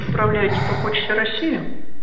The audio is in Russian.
направляете по почте россии